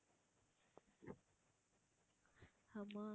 ஆமா